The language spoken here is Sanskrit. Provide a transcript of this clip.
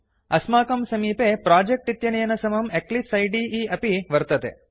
अस्माकं समीपे प्रोजेक्ट् इत्यनेन समं इक्लिप्साइड अपि वर्तते